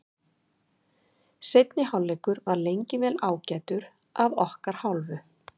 Seinni hálfleikur var lengi vel ágætur af okkar hálfu.